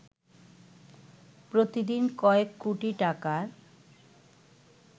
প্রতিদিন কয়েক কোটি টাকার